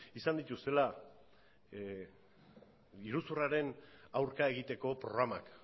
izan dituztela iruzurraren aurka egiteko programak